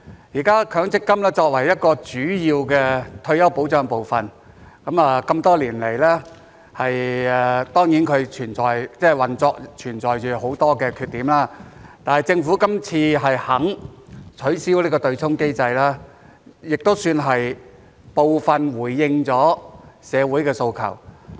現時強積金作為一個主要退休保障部分，這麼多年來當然其運作存在着很多缺點，但是政府今次肯取消這個"對沖"機制，也算是部分回應了社會的訴求。